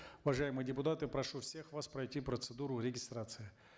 уважаемые депутаты прошу всех вас пройти процедуру регистрации